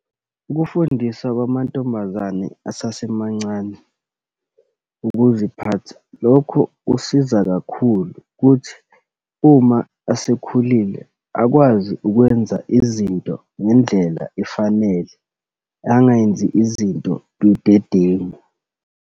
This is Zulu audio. Ukufundiswa kwamantombazane asasemancane ukuziphatha, lokho kusiza kakhulu, kuthi uma asekhulile, akwazi ukwenza izinto ngendlela efanele, angayenzi izinto budedengu.